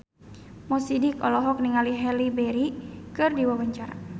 Mo Sidik olohok ningali Halle Berry keur diwawancara